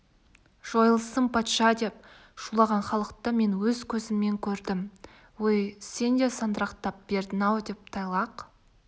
жойылсын патша деп шулаған халықты мен өз көзіммен көрдім өй сен де сандырақтап бердің-ау деп тайлақ